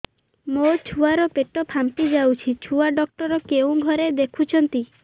ମୋ ଛୁଆ ର ପେଟ ଫାମ୍ପି ଯାଉଛି ଛୁଆ ଡକ୍ଟର କେଉଁ ଘରେ ଦେଖୁ ଛନ୍ତି